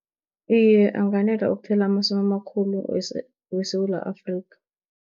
Iye, anganela ukuthela amasimu amakhulu weSewula Afrikha.